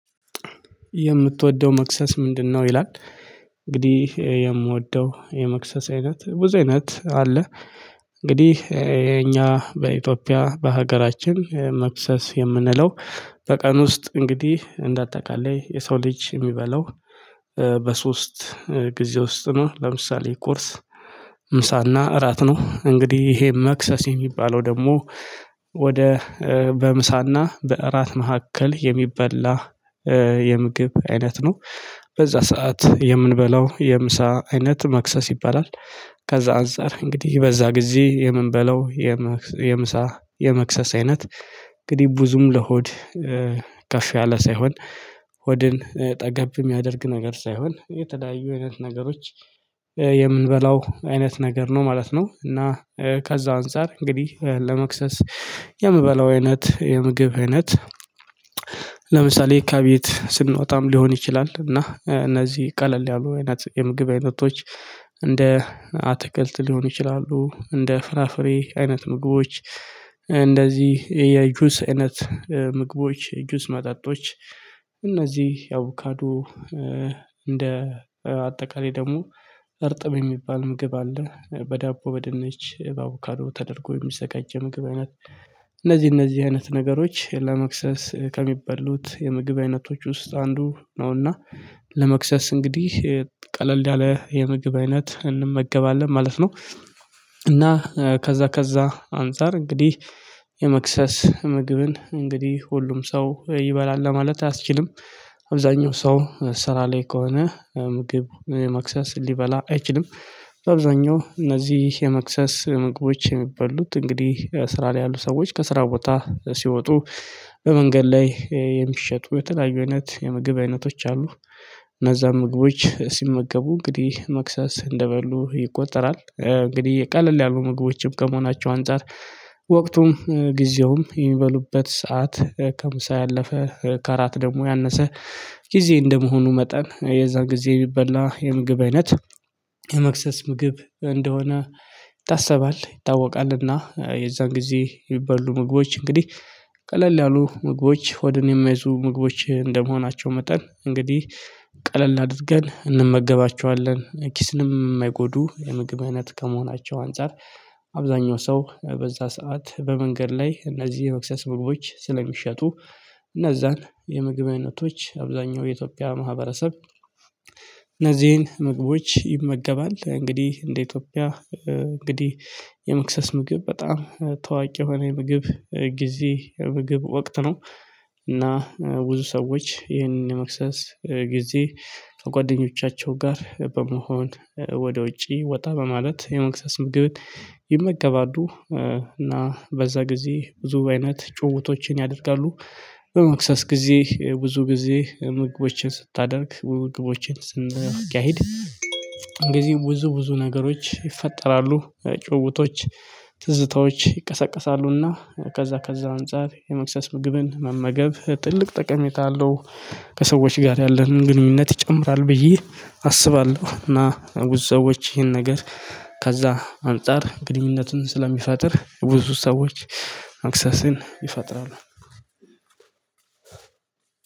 የምትወደው መክሰስ ምንድነው? ይላል። እንግዲህ የምወደው የመክሰስ አይነት ብዙ አይነት አለ። እንግዲህ የኛ በኢትዮጵያ በሀገራችን መክሰስ የምንለው፤ በቀን ውስጥ እንግዲህ እንዳጠቃላይ የሰው ልጅ የሚበላው በሶስት ጊዜ ውስጥ ነው። ለምሳሌ ቁርስ ምሳና እራት ነው። እንግዲህ ይሄ መክሰስ የሚባለው ደግሞ ወደ በምሳና በእራት መካከል የሚበላ የምግብ አይነት ነው። በዛ ሰዓት የምንበላው የምሳ አይነት መክሰስ ይባላል ከዛ አንፃር እንግዲህ በዛ ጊዜ የምንበላው የምሳ የመክሰስ አይነት እንግዲህ ብዙም ለሆድ ከፍ ያለ ሳይሆን ሆድን ጠገብ የሚያደርግ ነገር ሳይሆን፤ የተለያዩ አይነት ነገሮች የምንበላው አይነት ነገር ነው ማለት ነው። እና ከዛ አንፃር እንግዲህ ለመክሰስ የምበላው አይነት የምግብ አይነት ለምሳሌ ከቤት ስንወጣም ሊሆን ይችላል እና እነዚህ ቀለል ያሉ አይነት የምግብ አይነቶች፤ እንደ አትክልት ሊሆን ይችላሉ፣ እንደ ፍራፍሬ አይነት ምግቦች፣ እንደዚህ የጁስ አይነት ምግቦች ጁስ መጣጦች እነዚህ የአቮካዶ እንደ አጠቃላይ ደግሞ እርጥብ የሚባል ምግብ አለ። በዳቦ፣ በድንች፣ በአቮካዶ ተደርጎ የሚዘጋጅ ምግብ አይነት እነዚህ እነዚህ አይነት ነገሮች ለመክሰስ ከሚበሉት የምግብ አይነቶች ውስጥ አንዱ ነው። እና ለመክሰስ እንግዲህ ቀለል ያለ የምግብ አይነት እንመገባለን ማለት ነው። እና ከዛ ከዛ አንፃር እንግዲህ የመክሰስ ምግብን እንግዲህ ሁሉም ሰው ይበላል ለማለት አያስችልም። አብዛኛው ሰው ስራ ላይ ከሆነ ምግብ መክሰስ ሊበላ አይችልም። በአብዛኛው እነዚህ የመክሰስ ምግቦች የሚበሉት እንግዲህ ስራ ላይ ያሉ ሰዎች ከስራው ቦታ ሲወጡ በመንገድ ላይ የሚሸጡ የተለያዩ አይነት የምግብ አይነቶች አሉ። እነዛን ምግቦች ሲመገቡ እንግዲህ መክሰስ እንደበሉ ይቆጠራል። እንግዲህ ቀለል ያሉ ምግቦችም ከመሆናቸው አንፃር ወቅቱም ጊዜውም የሚበሉበት ሰዓት ከምሳ ያለፈ ከራት ደግሞ ያነሰ ጊዜ እንደመሆኑ መጠን፤ የዛን ጊዜ የሚበላ የምግብ አይነት የመክሰስ ምግብ እንደሆነ ይታሰባል ይታወቃልና፤ የዛን ጊዜ የሚበሉ ምግቦች እንግዲህ ቀለል ያሉ ምግቦች ሆድን የማይዙ ምግቦች እንደመሆናቸው መጠን እንግዲህ ቀለል አድርገን እንመገባቸዋለን። ኪስንም የማይጎዱ የምግብ አይነት ከመሆናቸው አንፃር፤ አብዛኛው ሰው በዛ ሰዓት በመንገድ ላይ እነዚህ የመክሰስ ምግቦች ስለሚሸጡ፤ እነዛን የምግብነቶች አብዛኛው የኢትዮጵያ ማህበረሰብ እነዚህን ምግቦች ይመገባል። እንግዲህ እንደ ኢትዮጵያ እንግዲህ የመክሰስ ምግብ በጣም ተዋቂ የሆነ ምግብ ጊዜ የምግብ ወቅት ነው። እና ብዙ ሰዎች ይሄንን የመክሰስ ጊዜ ከጓደኞቻቸው ጋር በመሆን ወደ ውጪ ወጣ በማለት የመክሰስ ምግብን ይመገባሉ። እና በዛ ጊዜ ብዙ አይነት ጭውውቶችን ያደርጋሉ። በመክሰስ ጊዜ ብዙ ጊዜ ምግቦችን ስታደርግ ምግቦችን ስናካሂድ ጊዜ ብዙ ብዙ ነገሮች ይፈጠራሉ። ጭውውቶች ትዝታዎች ይቀሰቀሳሉና ከዛ ከዛ አንፃር የመክሰስ ምግብን መመገብ ትልቅ ጠቀሜታ አለው። ከሰዎች ጋር ያለንን ግንኙነት ይጨምራል ብዬ አስባለሁ። እና ብዙ ሰዎች ይሄን ነገር ከዛ አንፃር ግንኙነቱን ስለሚፈጥር ብዙ ሰዎች መክሰስን ይፈጥራሉ።